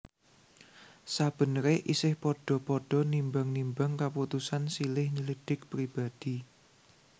Sabeneré isih padha padha nimbang nimbang kaputusan silih nyelidhik pribadi